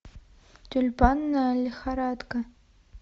тюльпанная лихорадка